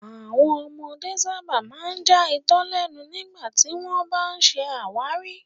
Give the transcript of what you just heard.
Àwọn ọmọdé sábà máa ń já itọ lẹnu nígbà tí wọ́n bá ń ṣe àwárí